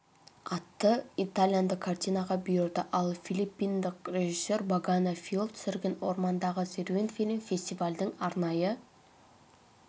атты итальяндық картинаға бұйырды ал филиппиндық режиссер багане фиол түсірген ормандағы серуен фильмі фестивальдің арнайы